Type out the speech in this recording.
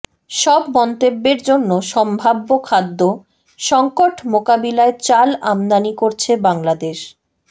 সব মন্তব্যের জন্য সম্ভাব্য খাদ্য সংকট মোকাবিলায় চাল আমদানি করছে বাংলাদেশ